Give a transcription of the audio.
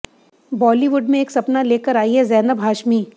बॉलीवुड में एक सपना लेकर आई हैं ज़ैनब हाशमी